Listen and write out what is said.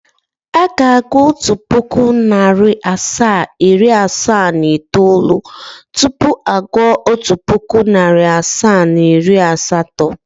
Aga agụụ otu puku, nari asaa, iri asaa na itoolu tupu agu otu puku, nari asaa na iri asatọ.